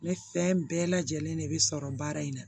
Ne fɛn bɛɛ lajɛlen de bɛ sɔrɔ baara in na